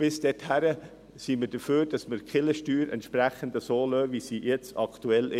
Bis dahin sind wir dafür, die Kirchensteuer so zu belassen, wie sie jetzt ist.